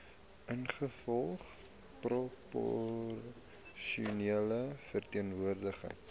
ingevolge proporsionele verteenwoordiging